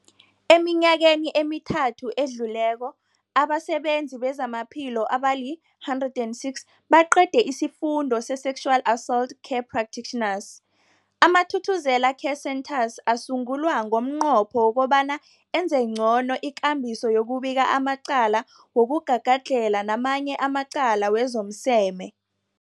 Eminyakeni emithathu edluleko, abasebenzi bezamaphilo abali-106 baqede isiFundo se-Sexual Assault Care Practitioners. AmaThuthuzela Care Centres asungulwa ngomnqopho wokobana enze ngcono ikambiso yokubika amacala wokugagadlhela namanye amacala wezomseme.